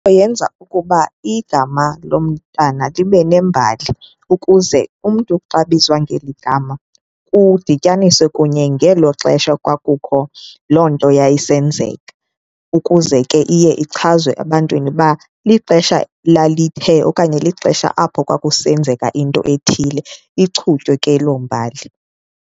Yenza ukuba igama lo mntana libe nembali ukuze umntu xa ebizwa ngeli gama kudityaniswe kunye ngelo xesha kwakukho loo nto yayisenzeka ukuze ke iye ichazwe ebantwini uba lixesha lalithe okanye lixesha apho kwakusenzeka into ethile, ichutywe ke loo mbali.